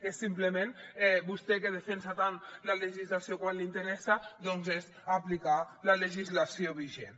és simplement vostè que defensa tant la legislació quan li interessa doncs aplicar la legislació vigent